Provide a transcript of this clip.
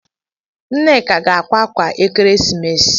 Nneka ga-akwa ákwà Ekeresimesi.